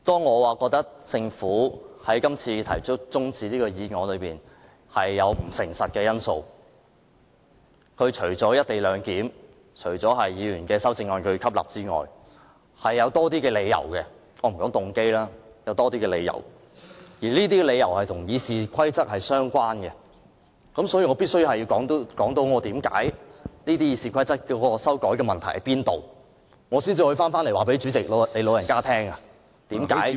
我覺得政府這次提出休會待續議案有不誠實的因素，除了因"一地兩檢"和要吸納議員的修正案外，有更多理由，我不說動機，只說有更多理由，而這些理由與《議事規則》相關，所以我必須說出修改《議事規則》有何問題，才能告訴主席你"老人家"，為何這次......